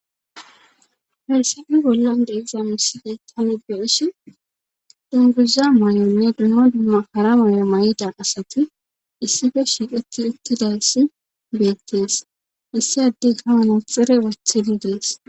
Hayssape bollan de7iza misiley taani be7ishin dungguza mayo danne hara mayo mayida asati issipe shiiqetti uttidayssi beettes. Issi addeyka manaxxire wothidi des.